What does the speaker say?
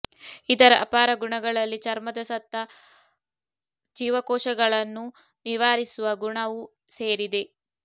ಇದರ ಅಪಾರ ಗುಣಗಳಲ್ಲಿ ಚರ್ಮದ ಸತ್ತ ಜೀವಕೋಶಗಳನ್ನು ನಿವಾರಿಸುವ ಗುಣವೂ ಸೇರಿದೆ